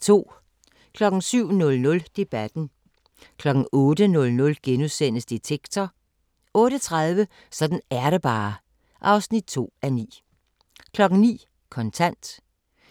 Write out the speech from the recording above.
07:00: Debatten * 08:00: Detektor * 08:30: Sådan er det bare (2:9) 09:00: Kontant